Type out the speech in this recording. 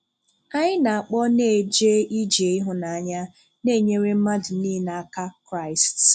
Anyị na-akpọ na-ejè ije ịhụ́nanya na-enyèrè mmadụ nile aka Christ.